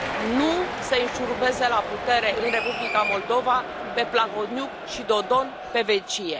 Nu să i înșurubeze la putere în Republica Moldova pe Plahotniuc și Dodon pe vecie.